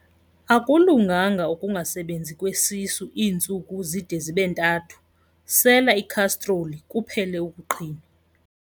Akulunganga ukungasebenzi kwesisu iintsuku zide zibe ntathu, sela ikhastroli kuphele ukuqhinwa.